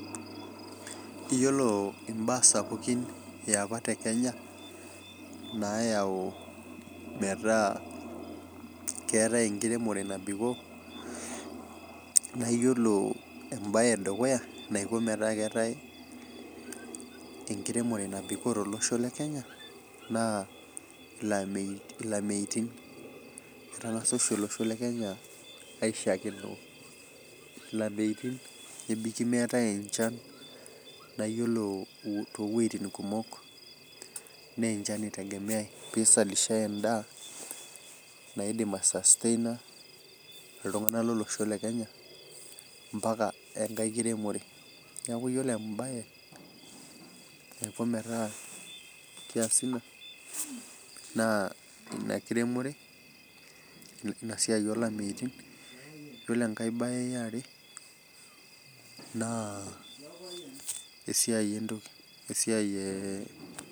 Yiolo mbaa sapukin eapa tekenya nayau metaa kerai enkiremore nabikoo, naa yiolo embae edukuya naiko metaa keetae enkiremore nabikoo tolosho lekenya naa lameitin. Etangsa osho olosho lekenya aishaakinore lameitin ,nebaiki meetae enchan naa yiolo toowejitin kumok naa enchan eitegemeae pee eisalishae endaa naidim aisastaina iltunganak lolosho lekenya mpaka enkae kiremore. Neeku yiolo embae naiko metaa keesi ina, naa ina kiremore ,ina siai olameitin. Yiolo enkae bae eare naa .